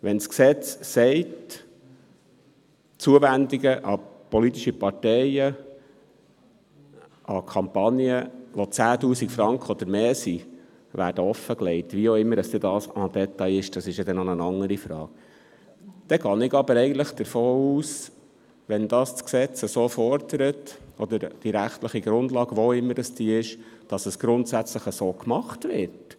– Wenn das Gesetz sagt, Zuwendungen an politische Parteien, an Kampagnen, welche 10 000 Franken oder mehr betragen, werden offengelegt – wie dies auch immer im Detail aussehen mag, das ist eine andere Frage –, dann gehe ich eigentlich davon aus, dass es grundsätzlich so gemacht wird, wenn das Gesetz oder die gesetzliche Grundlage, welche es denn auch sein mag, so fordert.